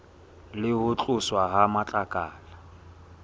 le ho tloswa ha matlakala